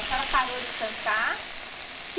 A senhora parou de cantar?